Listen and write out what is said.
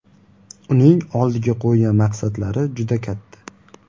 Uning oldiga qo‘ygan maqsadlari juda katta.